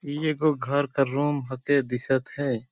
इ एगो घर क रूम ह के दिशत है।